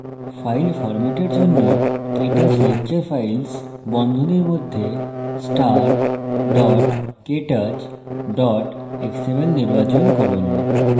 files ফরম্যাটের জন্য ktouch lecture files বন্ধনীর মধ্যে star ktouch xml নির্বাচন করুন